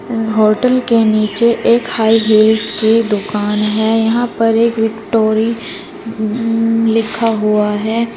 Hotel के नीचे एक हाय हील्स की दुकान है यहां पर एक विक्टोरि उम्म लिखा हुआ है।